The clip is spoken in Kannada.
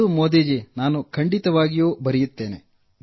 ಹೌದು ನಾನು ಖಂಡಿತವಾಗಿಯೂ ಬರೆಯುತ್ತೇನೆ